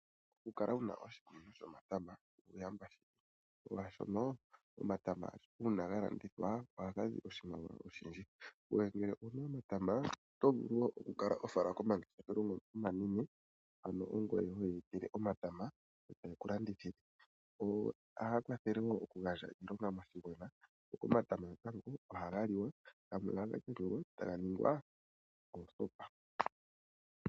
Okukala wu na oshikunino shomatama uuyamba shili , molwaashono omatama uuna ga landithwa oha ga zi oshimaliwa oshindji. Ngoye ngele owu na omatama oto vulu oku kala ho fala komangeshefelo ngono omanene ano ongoye ho ya etele omatama e ta ye ku landithile. Ohaya kwathele wo okugandja iilonga omathimbo ngaka, go omatama natango oha ga liwa go gamwe oha ga yungulwa e taga ningwa oosopa.